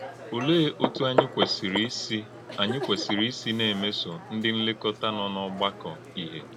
Òlee òtú ányị kwesìrì ísí ányị kwesìrì ísí na - émèsó ndí nlékọ́tà nọ n’ọ̀gbàkọ́ ìhè?